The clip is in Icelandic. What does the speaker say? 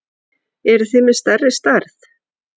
Eruð þið með stærri stærð?